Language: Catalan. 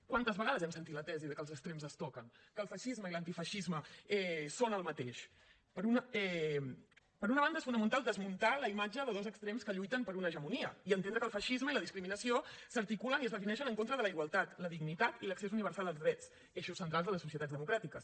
quantes vegades hem sentit la tesi de que els extrems es toquen que el feixisme i l’antifeixisme són el mateix per una banda es fonamental desmuntar la imatge de dos extrems que lluiten per una hegemonia i entendre que el feixisme i la discriminació s’articulen i es defineixen en contra de la igualtat la dignitat i l’accés universal als drets eixos centrals de les societats democràtiques